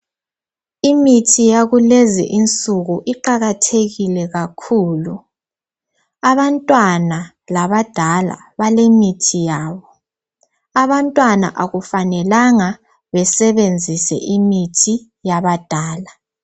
Imithi yakulezinsuku iqakathekile kakhulu. Abantwana labadala balemithi yabo. Abantwana akufanelanga bebenzisa imithi yabadala.